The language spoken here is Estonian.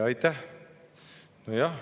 Aitäh!